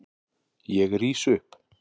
Ég rís upp.